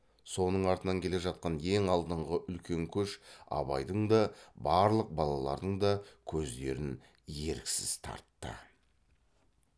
соның артынан келе жатқан ең алдыңғы үлкен көш абайдың да барлық балалардың да көздерін еріксіз тартты